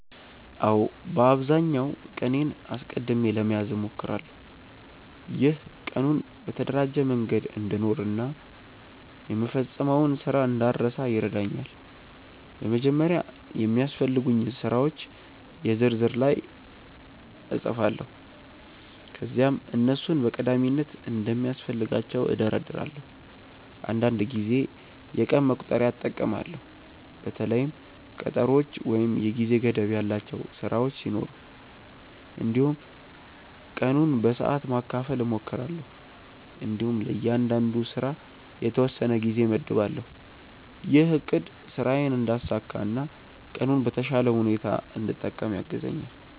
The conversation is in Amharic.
አዎ፣ በአብዛኛው ቀኔን አስቀድሜ ለመያዝ እሞክራለሁ። ይህ ቀኑን በተደራጀ መንገድ እንድኖር እና የምፈጽመውን ስራ እንዳልረሳ ይረዳኛል። በመጀመሪያ የሚያስፈልጉኝን ስራዎች የ ዝርዝር ላይ እጻፋለሁ ከዚያም እነሱን በቀዳሚነት እንደሚያስፈልጋቸው እደርዳለሁ። አንዳንድ ጊዜ የቀን መቁጠሪያ እጠቀማለሁ በተለይም ቀጠሮዎች ወይም የጊዜ ገደብ ያላቸው ስራዎች ሲኖሩ። እንዲሁም ቀኑን በሰዓት ማካፈል እሞክራለሁ እንዲሁም ለእያንዳንዱ ስራ የተወሰነ ጊዜ እመድባለሁ። ይህ አቅድ ስራዬን እንዳሳካ እና ቀኑን በተሻለ ሁኔታ እንድጠቀም ያግዛኛል።